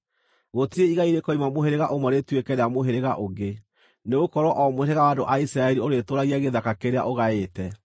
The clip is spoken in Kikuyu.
Gũtirĩ igai rĩkoima mũhĩrĩga ũmwe rĩtuĩke rĩa mũhĩrĩga ũngĩ, nĩgũkorwo o mũhĩrĩga wa andũ a Isiraeli ũrĩtũũragia gĩthaka kĩrĩa ũgaĩte.”